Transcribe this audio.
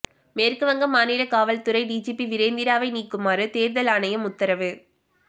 மேற்குவங்க மாநில காவல்துறை டிஜிபி விரேந்திராவை நீக்குமாறு தேர்தல் ஆணையம் உத்தரவு